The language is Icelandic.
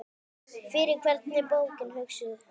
Fyrir hvern er bókin hugsuð?